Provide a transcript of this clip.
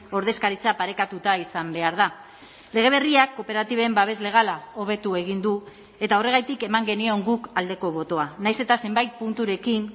ordezkaritza parekatuta izan behar da lege berriak kooperatiben babes legala hobetu egin du eta horregatik eman genion guk aldeko botoa nahiz eta zenbait punturekin